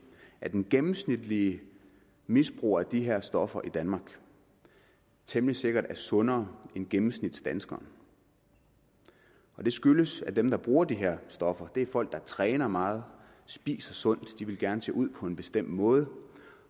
at en gennemsnitlig misbruger af de her stoffer i danmark temmelig sikkert er sundere end gennemsnitsdanskeren og det skyldes at dem der bruger de her stoffer er folk der træner meget og spiser sundt de vil gerne se ud på en bestemt måde